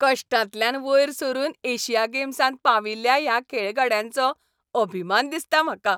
कश्टांतल्यान वयर सरून एशिया गेम्सांत पाविल्ल्या ह्या खेळगड्यांचो अभिमान दिसता म्हाका.